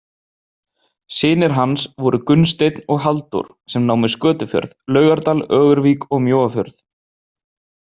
Synir hans voru Gunnsteinn og Halldór, sem námu Skötufjörð, Laugardal, Ögurvík og Mjóafjörð.